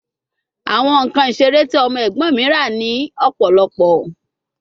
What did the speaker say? Awọn nkan isere ti ọmọ ẹgbọn mi ra ni ọpọlọpọ